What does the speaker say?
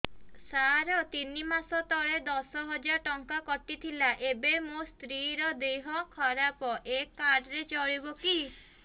ସାର ତିନି ମାସ ତଳେ ଦଶ ହଜାର ଟଙ୍କା କଟି ଥିଲା ଏବେ ମୋ ସ୍ତ୍ରୀ ର ଦିହ ଖରାପ ଏ କାର୍ଡ ଚଳିବକି